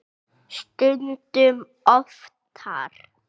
Stundum oftar.